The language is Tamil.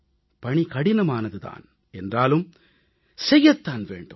பணி கடினமானது தான் என்றாலும் செய்யத்தான் வேண்டும்